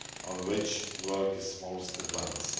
on which work is most advanced.